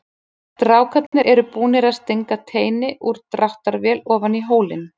Strákarnir eru búnir að stinga teini úr dráttarvél ofan í hólinn.